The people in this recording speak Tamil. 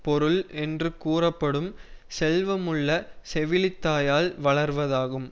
பொருள் என்று கூறப்படும் செல்வமுள்ள செவிலி தாயால் வளர்வதாகும்